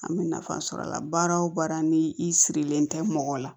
An bɛ nafa sɔrɔ a la baara o baara ni i sirilen tɛ mɔgɔ la